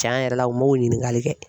Tiɲɛn yɛrɛ la u m'o ɲininkali kɛ.